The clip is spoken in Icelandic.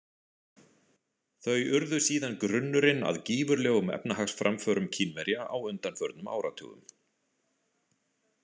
Þau urðu síðan grunnurinn að gífurlegum efnahagsframförum Kínverja á undanförnum áratugum.